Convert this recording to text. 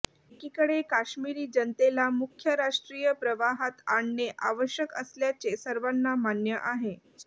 एकीकडे काश्मिरी जनतेला मुख्य राष्ट्रीय प्रवाहात आणणे आवश्यक असल्याचे सर्वांना मान्य आहे